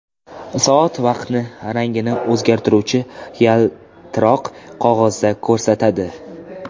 Soat vaqtni rangini o‘zgartiruvchi yaltiroq qog‘ozda ko‘rsatadi.